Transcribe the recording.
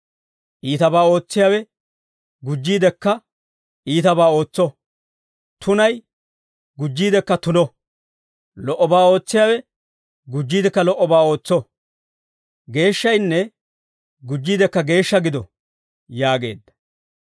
Iitabaa ootsiyaawe gujjiidekka iitabaa ootso; tunay gujjiidekka tuno. Lo"obaa ootsiyaawe gujjiidekka lo"obaa ootso; geeshshaynne gujjiidekka geeshsha gido» yaageedda.